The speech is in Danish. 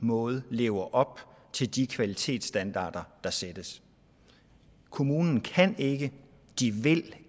måde lever op til de kvalitetsstandarder der sættes kommunen kan ikke de vil